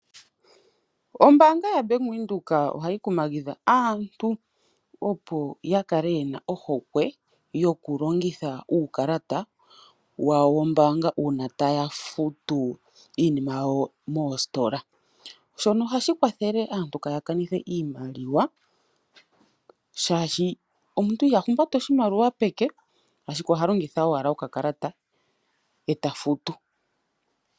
Ombaanga yaBank Windhoek ohayi kumagidha aantu opo ya kale ye na ohokwe yokulongitha uukalata wawo wombaanga, uuna taya futu iinima yawo moositola. Shono ohashi kwathele aantu kaya kanithe imaliwa, shaashi omuntu iha humbata oshimaliwa peke ashike oha longitha owala okakalata e ta futu.